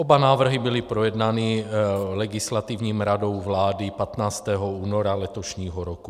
Oba návrhy byly projednány Legislativní radou vlády 15. února letošního roku.